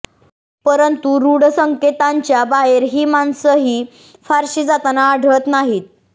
परंतु ऋढ संकेतांच्या बाहेर ही माणसंही फारशी जाताना आढळत नाहीत